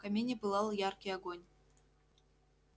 в камине пылал яркий огонь